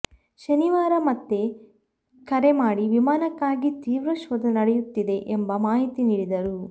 ಶನಿವಾರ ಮತ್ತೆ ಕರೆ ಮಾಡಿ ವಿಮಾನಕ್ಕಾಗಿ ತೀವ್ರ ಶೋಧ ನಡೆಯುತ್ತಿದೆ ಎಂಬ ಮಾಹಿತಿ ನೀಡಿದರು